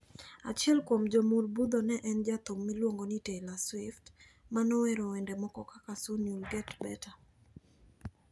Achiel kuom jomur butho ne en jathum miluongo ni Taylor Swift ma nowero wende moko kaka "Soon You'll Get Better".